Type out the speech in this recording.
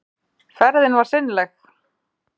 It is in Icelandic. Ferðin var seinleg.